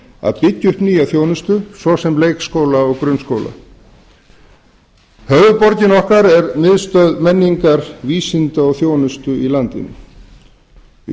að byggja upp nýja þjónustu svo sem leikskóla og grunnskóla höfuðborgin er miðstöð menningar vísinda og þjónustu í